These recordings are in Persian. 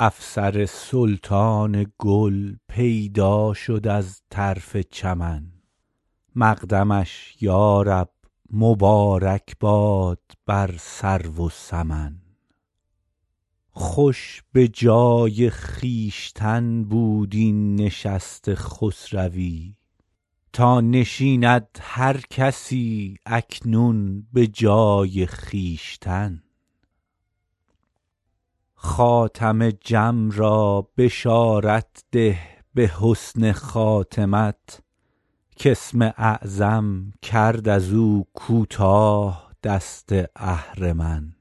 افسر سلطان گل پیدا شد از طرف چمن مقدمش یا رب مبارک باد بر سرو و سمن خوش به جای خویشتن بود این نشست خسروی تا نشیند هر کسی اکنون به جای خویشتن خاتم جم را بشارت ده به حسن خاتمت کاسم اعظم کرد از او کوتاه دست اهرمن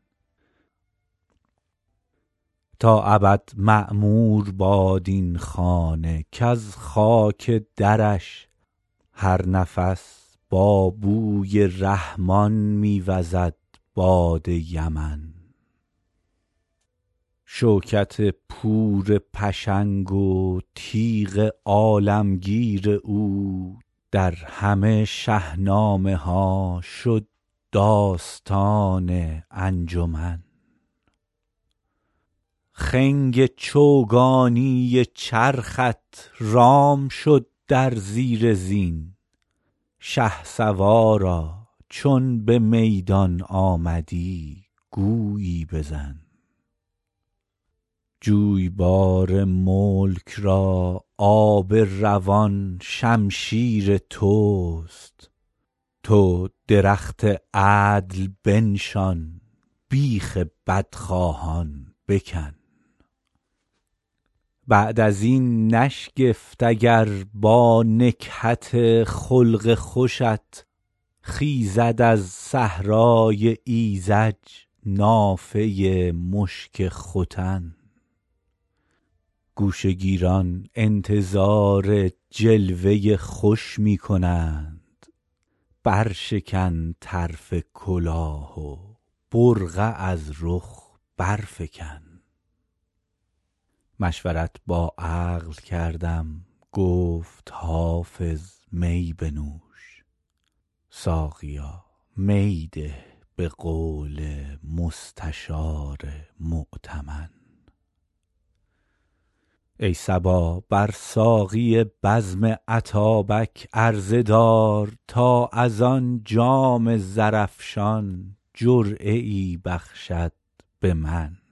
تا ابد معمور باد این خانه کز خاک درش هر نفس با بوی رحمان می وزد باد یمن شوکت پور پشنگ و تیغ عالمگیر او در همه شهنامه ها شد داستان انجمن خنگ چوگانی چرخت رام شد در زیر زین شهسوارا چون به میدان آمدی گویی بزن جویبار ملک را آب روان شمشیر توست تو درخت عدل بنشان بیخ بدخواهان بکن بعد از این نشگفت اگر با نکهت خلق خوشت خیزد از صحرای ایذج نافه مشک ختن گوشه گیران انتظار جلوه خوش می کنند برشکن طرف کلاه و برقع از رخ برفکن مشورت با عقل کردم گفت حافظ می بنوش ساقیا می ده به قول مستشار مؤتمن ای صبا بر ساقی بزم اتابک عرضه دار تا از آن جام زرافشان جرعه ای بخشد به من